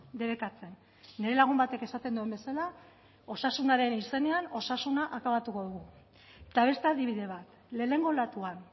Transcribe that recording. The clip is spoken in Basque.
debekatzen nire lagun batek esaten duen bezala osasunaren izenean osasuna akabatuko dugu eta beste adibide bat lehenengo olatuan